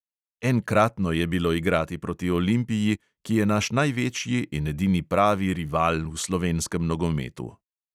Enkratno je bilo igrati proti olimpiji, ki je naš največji in edini pravi rival v slovenskem nogometu.